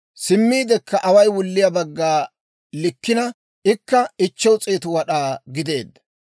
Simmiidekka away wulliyaa bagga likkeedda; ikka 500 wad'aa gideedda.